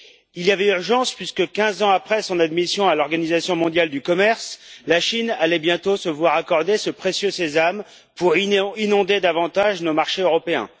Il y avait urgence puisque 15 ans après son admission à l'Organisation mondiale du commerce, la Chine allait bientôt se voir accorder ce précieux sésame pour inonder davantage nos marchés européens.